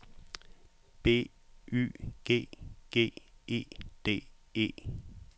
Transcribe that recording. B Y G G E D E